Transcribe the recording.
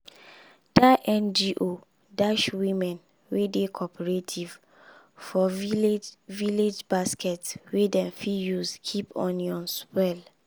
that ngo dash women wey dey cooperative for village village basket wey dem fit use keep onions well.